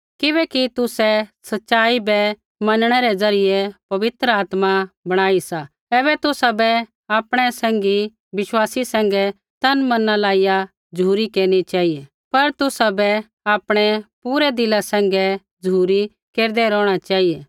किबैकि तुसै सच़ाई बै मनणै रै ज़रियै पवित्र बणाऊ सा ऐबै तुसाबै आपणै सैंघी विश्वासी सैंघै तन मना लाइया झ़ुरी केरनी चेहिऐ पर तुसाबै आपणै पूरै दिला सैंघै झ़ुरी केरदै रौहणा चेहिऐ